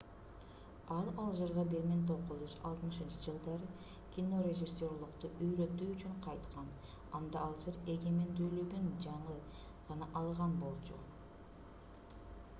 ал алжирге 1960-жылдары кинорежиссерлукту үйрөтүү үчүн кайткан анда алжир эгемендүүлүгүн жаңы гана алган болчу